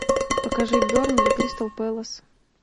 покажи бернли кристал пэлас